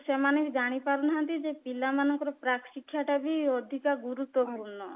ସେମାନେ ବି ଜାଣିପାରୁନାହାନ୍ତି ଯେ ପିଲା ମାନଙ୍କର ପ୍ରାକ ଶିକ୍ଷା ଟା ବି ଅଧିକା ଗୁରୁତ୍ୱପୂର୍ଣ୍ଣ